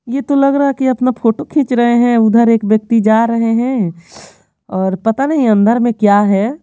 ये तो लग रहा है कि अपना फोटो खींच रहे हैं उधर एक व्यक्ति जा रहे हैं और पता नहीं अंदर में क्या है।